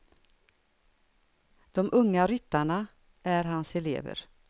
De unga ryttarna är hans elever.